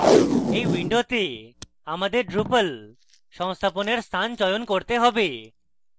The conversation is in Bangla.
in window আমাদের drupal সংস্থাপনের স্থান চয়ন করতে have